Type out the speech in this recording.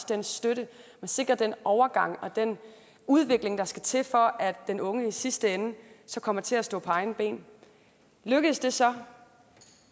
den støtte man sikrer den overgang og den udvikling der skal til for at den unge i sidste ende kommer til at stå på egne ben lykkes det så